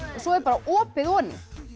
svo er bara opið oní